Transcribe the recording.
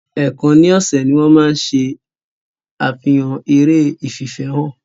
Èèkan ni ọ̀sẹ̀ ni wọ́n máa ń ṣe àfihàn eré ìfìfẹ́hàn.